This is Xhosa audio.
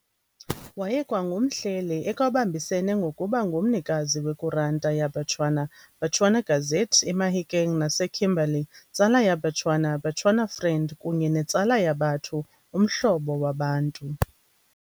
Wayekwangumhleli ekwabambisene ngokuba ngumnikazi we'Kuranta ya Becoana", "Bechuana Gazette" eMahikeng, naseKimberley "Tsala ya Becoana", "Bechuana Friend", kunye ne"Tsala ya Batho", "Umhlobo wabantu".